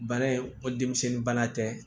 Bana in o denmisɛnnin bana tɛ